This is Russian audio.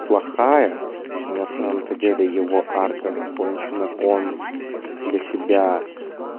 плохая но на самом-то деле его арка закончена он для себя